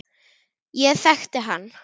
Ég þekkti hann